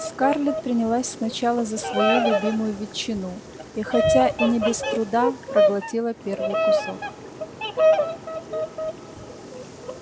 скарлетт принялась сначала за свою любимую ветчину и хотя и не без труда проглотила первый кусок